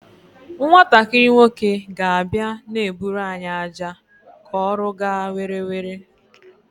Nwatakịrị nwoke ga abia na-eburu anyị aja ka ọrụ gaa were were